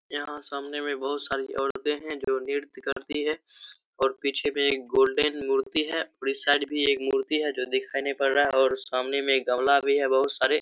यहाँ सामने बहुत सारी औरतें हैं जो नृत्य करती है और पीछे में एक गोल्डेन मूर्ति है और इस साइड मे एक गमला भी है बहुत-सारे --